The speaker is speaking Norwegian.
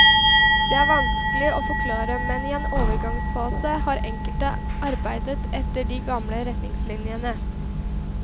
Det er vanskelig å forklare, men i en overgangsfase har enkelte arbeidet etter de gamle retningslinjene.